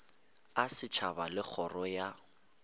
a setšhaba le kgoro ya